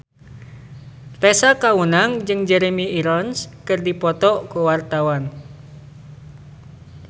Tessa Kaunang jeung Jeremy Irons keur dipoto ku wartawan